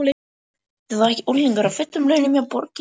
Þetta er þó ekki unglingur á fullum launum hjá borginni?